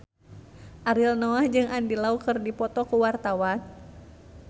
Ariel Noah jeung Andy Lau keur dipoto ku wartawan